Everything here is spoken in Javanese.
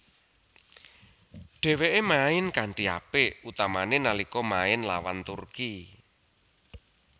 Dheweke main kanthi apik utamane nalika main lawan Turki